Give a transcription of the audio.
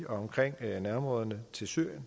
omkring nærområderne til syrien